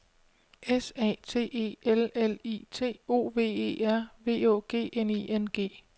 S A T E L L I T O V E R V Å G N I N G